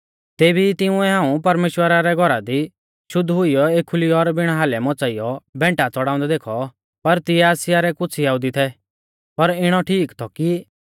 तेभी ई तिंउऐ हाऊं परमेश्‍वरा रै घौरा दी शुद्ध हुइयौ एखुली और बिण हालै मच़ाइयौ भैंटा च़ड़ाउंदै देखौ पर तिऐ आसिया रै कुछ़ यहुदी थै पर इणौ ठीक थौ कि